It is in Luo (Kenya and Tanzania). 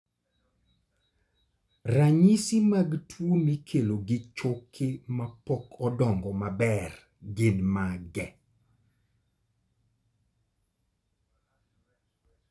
Ranyisi mag tuo mikelo gi choke mapok odongo maber gin mage?